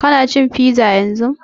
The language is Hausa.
Ka na cin fiza yanzun?